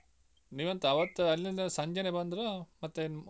ನೀವೆಂತ ಅವತ್ತು ಅಲ್ಲಿಂದ ಸಂಜೆನೆ ಬಂದ್ರಾ ಮತ್ತೆ ಇಲ್ಲ ಒನ್ದದಿವ್ಸ ಬಂದ್ರ .